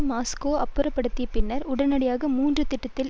Moscow அப்புறப்படுத்திய பின்னர் உடனடியாக மூன்று திட்டத்தில்